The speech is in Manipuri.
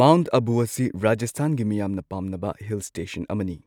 ꯃꯥꯎꯟꯠ ꯑꯕꯨ ꯑꯁꯤ ꯔꯥꯖꯁꯊꯥꯟꯒꯤ ꯃꯤꯌꯥꯝꯅ ꯄꯥꯝꯅꯕ ꯍꯤꯜ ꯁ꯭ꯇꯦꯁꯟ ꯑꯃꯅꯤ꯫